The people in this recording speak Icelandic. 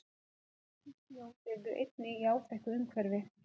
Asísk ljón lifðu einnig í áþekku umhverfi.